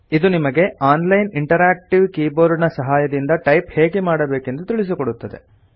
ಇದು ನಿಮಗೆ online interactive keyboard ನ ಸಹಾಯದಿಂದ ಟೈಪ್ ಹೇಗೆ ಮಾಡಬೇಕೆಂದು ತಿಳಿಸಿಕೊಡುತ್ತದೆ